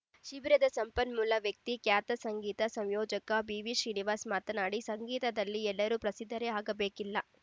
ಶಿಬಿರದ ಸಂಪನ್ಮೂಲ ವ್ಯಕ್ತಿ ಖ್ಯಾತ ಸಂಗೀತ ಸಂಯೋಜಕ ಬಿ ವಿ ಶ್ರೀನಿವಾಸ್‌ ಮಾತನಾಡಿ ಸಂಗೀತದಲ್ಲಿ ಎಲ್ಲರೂ ಪ್ರಸಿದ್ಧರೇ ಆಗಬೇಕಿಲ್ಲ